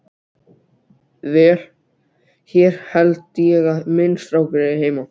Vel, hér held ég að minn strákur eigi heima.